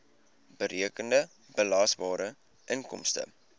berekende belasbare inkomste